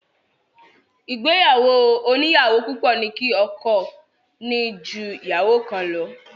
Ìgbéyàwó oníyàwó púpọ̀ ní kí ọkọ ní jú ìyàwó kan lọ.